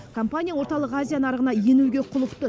компания орталық азия нарығына енуге құлықты